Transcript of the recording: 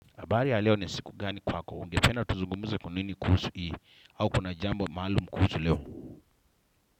Habari ya leo ni siku gani kwako? Ungependa tuzungumze nini kuhusu hii au kuna jambo mahalumu kuhusu leo?